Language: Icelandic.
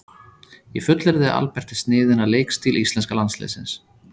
Ég fullyrði að Albert er sniðinn að leikstíl íslenska landsliðsins.